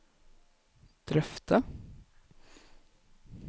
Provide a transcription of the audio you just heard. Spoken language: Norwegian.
drøfte